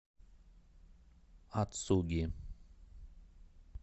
ацуги